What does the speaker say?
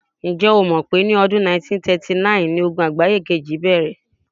Ǹ̀jẹ́ o mọ̀ pé ọdún 1939ni Ogun àgbáye kejì bẹ̀rẹ̀?